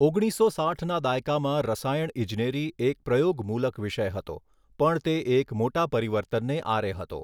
ઓગણીસો સાઠના દાયકામાં રસાયણ ઇજનેરી એક પ્રયોગમૂલક વિષય હતો, પણ તે એક મોટા પરિવર્તનને આરે હતો.